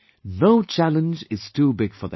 No challenge is too big for them